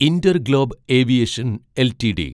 InterGlobe Aviation LTD